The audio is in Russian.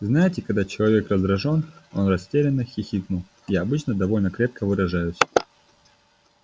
знаете когда человек раздражён он растерянно хихикнул я обычно довольно крепко выражаюсь